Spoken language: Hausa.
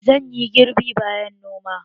Zan yi girbi bayan noma